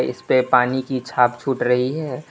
इसपे पानी की छाप छूट रही है।